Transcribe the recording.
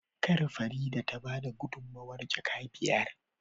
Kar Farida tabada gudunmawar jaka biyar